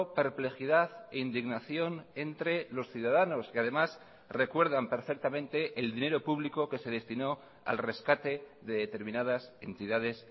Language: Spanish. perplejidad e indignación entre los ciudadanos que además recuerdan perfectamente el dinero público que se destinó al rescate de determinadas entidades